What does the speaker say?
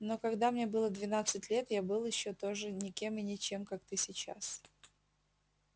но когда мне было двенадцать лет я был ещё тоже никем и ничем как ты сейчас